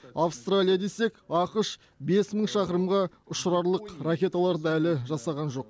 австралия десек ақш бес мың шақырымға ұшырарлық ракеталарды әлі жасаған жоқ